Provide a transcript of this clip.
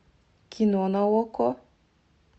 кино на окко